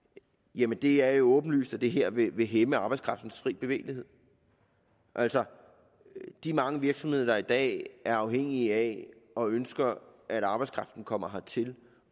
jamen det er jo åbenlyst at det her vil hæmme arbejdskraftens frie bevægelighed altså i de mange virksomheder der i dag er afhængige af og ønsker at arbejdskraften kommer hertil